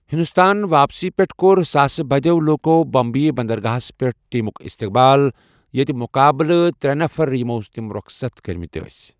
ہندوستان واپسی پیٹھ کوٚر ساسہٕ بٔدیو٘ لوُکو٘ بمبیہِ بندرگاہس پیٹھ ٹیمٗك استقبال، یتہِ مُقابلہٕ ترٚے نفر یِمو تِم روخصت كرِمٕتۍ ٲسۍ ۔